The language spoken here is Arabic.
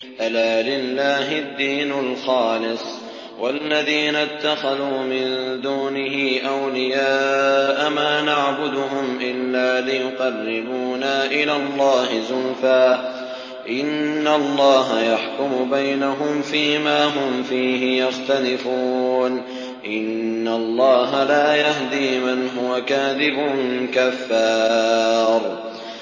أَلَا لِلَّهِ الدِّينُ الْخَالِصُ ۚ وَالَّذِينَ اتَّخَذُوا مِن دُونِهِ أَوْلِيَاءَ مَا نَعْبُدُهُمْ إِلَّا لِيُقَرِّبُونَا إِلَى اللَّهِ زُلْفَىٰ إِنَّ اللَّهَ يَحْكُمُ بَيْنَهُمْ فِي مَا هُمْ فِيهِ يَخْتَلِفُونَ ۗ إِنَّ اللَّهَ لَا يَهْدِي مَنْ هُوَ كَاذِبٌ كَفَّارٌ